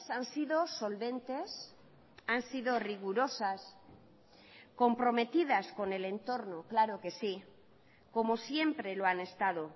han sido solventes han sido rigurosas comprometidas con el entorno claro que sí como siempre lo han estado